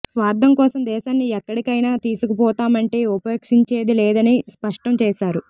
స్వార్థం కోసం దేశాన్ని ఎక్కడికైనా తీసుకుపోతామంటే ఉపేక్షించేది లేదని స్ప ష్టం చేశారు